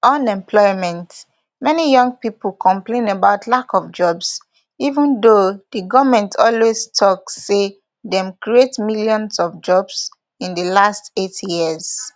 unemploymentmany young pipo complain about lack of jobs even though di goment always tok say dem create millions of jobs in di last eight years